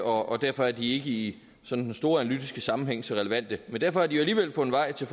og derfor er de i sådan den store analytiske sammenhæng ikke så relevante men derfor har de jo alligevel fundet vej til